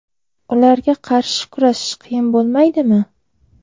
Ularga qarshi kurashish qiyin bo‘lmaydimi?